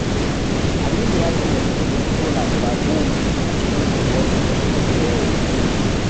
Aminu ya sanya fitulun sola guda 10 a cikin unguwarsu da kuma kewaye.